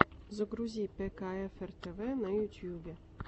загрузи пэкаэфэр тэвэ в ютюбе